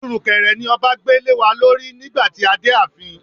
Irukere ni ọba gbé lewa lórí nígbà tí a dé ààfin.